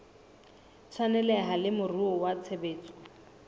tshwaneleha le moruo wa tshebetso